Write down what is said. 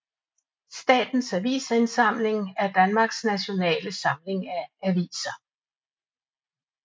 Statens Avissamling er Danmarks nationale samling af aviser